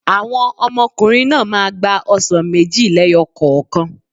Àwọn ọmọkùnrin náà máa gba ọsàn méjì lẹ́yọ̀ kokan